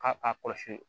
K'a a kɔlɔsi